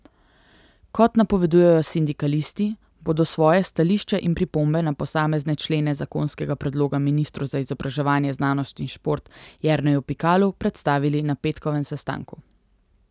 Kot napovedujejo sindikalisti, bodo svoje stališče in pripombe na posamezne člene zakonskega predloga ministru za izobraževanje, znanost in šport Jerneju Pikalu predstavili na petkovem sestanku.